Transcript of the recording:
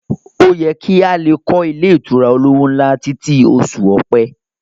Ó yẹ kí a lè kọ́ ilé ìtura olówó ńlá títí i oṣù ọ̀pẹ